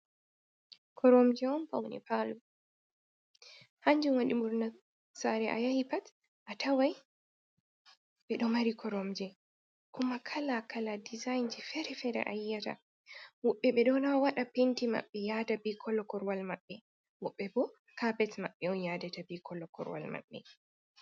Koromje on pawne paalo, hanjum waɗi ɓurna saare a yahi pat, a taway ɓe ɗo mari koromje. Kuma kala kala dizayinji feere feere a yi'ata . Woɓɓe ɓe ɗon a waɗa penti maɓɓe, yaada bi kollo korowal maɓɓe. Woɓɓe bo, kapet maɓɓe on yaadata, be kollo korowal maɓɓe.